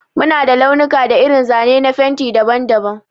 Mu na da launuka da irin zane na fenti daban-daban.